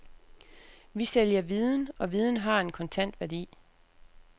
Vi sælger viden, og viden har en kontant værdi.